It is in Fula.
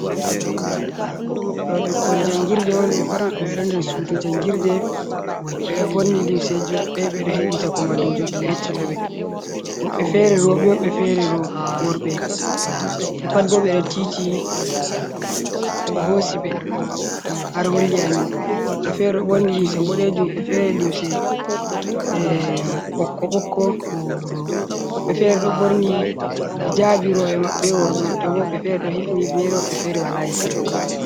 Ɗoo ɓikkon janngirde on ɓe pat maɓɓe ɓe ɗon nder suudu janngirde. Ɓe ɗo ɓorni limseeji maɓɓe ɓe ɗo heɗita Ko mallumjo maɓɓe yeccata ɓe. Woɓɓe feere rowɓe, woɓɓe feere row, worɓe. Ɓe pat bo ɓe ɗo tiiti ko hoosi ɓe har holli amin ɗoo. Woɓɓe feere ɗo ɓorni linse boɗeejum, woɓɓe feere limse eeh ɓokko-ɓokko, woɓɓe feere ɗo ɓorni hijaabi rewɓe maɓɓe, worɓe maɓɓe bo woɓɓe feere ɗo hifni hifneere woɓɓe feere walaa hifneere.